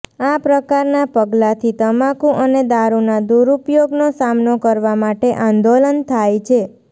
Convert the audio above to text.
આ પ્રકારના પગલાંથી તમાકુ અને દારૂના દુરૂપયોગનો સામનો કરવા માટે આંદોલન થાય છે